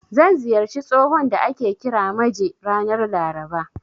Zan ziyarci tsohon da ake kira Maje, ranar Laraba.